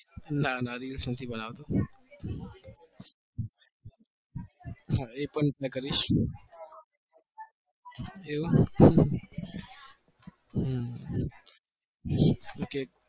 ના ના reels નથી બનાવતો હા એ પણ પ્રયત્ન કરીશ, એવું હમ okay